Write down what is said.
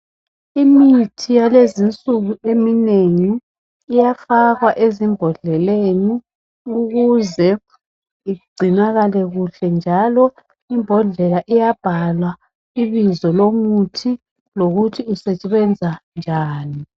Imithi yalezi insuku eminengi iyafakwa ezimbodleleni ukuze igcinakale kuhle njalo ibhodlela iyabhalwa ibizo lomuthi ngokuthi usebenza njani.